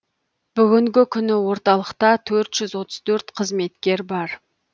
бүгінгі күні орталықта төрт жүз отыз төрт қызметкер бар